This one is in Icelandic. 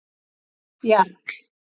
Jarl